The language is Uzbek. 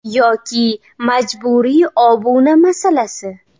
Yoki majburiy obuna masalasi.